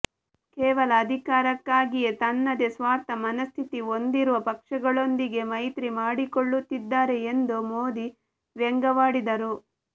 ಕೇವಲ ಅಧಿಕಾರಕ್ಕಾಗಿ ತನ್ನದೇ ಸ್ವಾರ್ಥ ಮನಸ್ಥಿತಿ ಹೊಂದಿರುವ ಪಕ್ಷಗಳೊಂದಿಗೆ ಮೈತ್ರಿ ಮಾಡಿಕೊಳ್ಳುತ್ತಿದ್ದಾರೆ ಎಂದು ಮೋದಿ ವ್ಯಂಗ್ಯವಾಡಿದರು